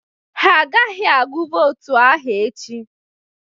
Ha agaghị agụ votu ahụ echi.